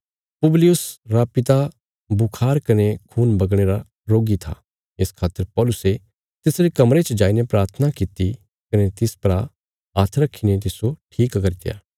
पुबलियुस रा पिता बुखार कने खून बगणे रा रोगी था इस खातर पौलुसे तिसरे कमरे च जाईने प्राथना कित्ती कने तिस परा हाथ रखीने तिस्सो ठीक करित्या